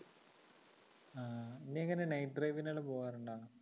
നീ എങ്ങനെ night drive നെല്ലാം പോവാറുണ്ടോ?